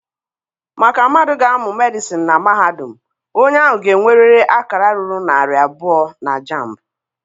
Maka mmadụ ga-amụ Medịsịn na mahadum, onye ahụ ga-enwerịrị akara ruru narị abụọ na JAMB.